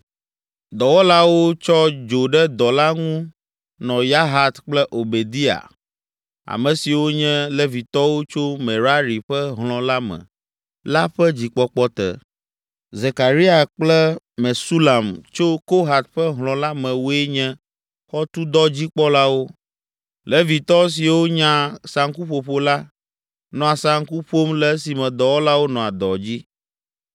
Dɔwɔlawo tsɔ dzo ɖe dɔ la ŋu nɔ Yahat kple Obadiya, ame siwo nye Levitɔwo tso Merari ƒe hlɔ̃ la me la ƒe dzikpɔkpɔ te. Zekaria kple Mesulam tso Kohat ƒe hlɔ̃ la me woe nye xɔtudɔdzikpɔlawo. Levitɔ siwo nya saŋkuƒoƒo la, nɔa saŋku ƒom le esime dɔwɔlawo nɔa dɔ dzi.